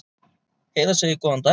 Heiða segir góðan daginn!